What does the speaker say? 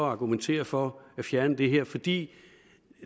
argumentere for at fjerne det her fordi